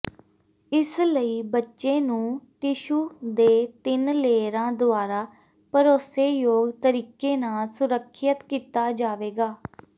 ਇਸ ਲਈ ਬੱਚੇ ਨੂੰ ਟਿਸ਼ੂ ਦੇ ਤਿੰਨ ਲੇਅਰਾਂ ਦੁਆਰਾ ਭਰੋਸੇਯੋਗ ਤਰੀਕੇ ਨਾਲ ਸੁਰੱਖਿਅਤ ਕੀਤਾ ਜਾਵੇਗਾ